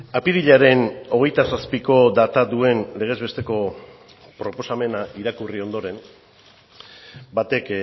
apirilaren hogeita zazpiko data duen legez besteko proposamena irakurri ondoren batek